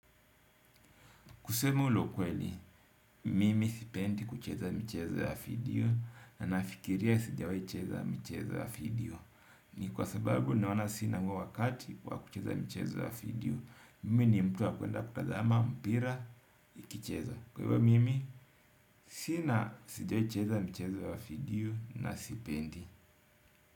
Kusema la ukweli, mimi sipendi kucheza michezo ya video na nafikiria sijawahi cheza michezo ya video. Ni kwa sababu naona sina huo wakati wa kucheza michezo ya video. Mimi ni mtu wa kuenda kutazama, mpira, ikicheza. Kwa hivyo mimi, sina sijawahi cheza michezo ya video na sipendi.